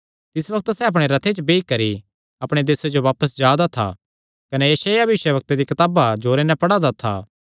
तिस बग्त सैह़ अपणे रथे च बेई करी अपणे देसे जो बापस जा था कने यशायाह भविष्यवक्ता दिया कताब जोरे नैं पढ़ा दा था